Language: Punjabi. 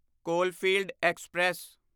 Coalfield express